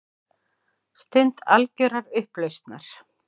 Stund algjörrar upplausnar.